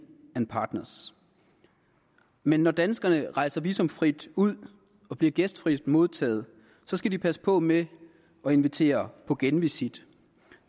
partners men når danskerne rejser visumfrit ud og bliver gæstfrit modtaget skal de passe på med at invitere på genvisit